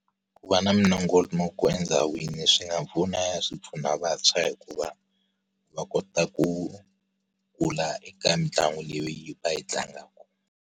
Ku va na minongonoko endhawini swi nga swi pfuna vantshwa hikuva, va kota ku kula eka mitlangu leyi va yi tlangaka.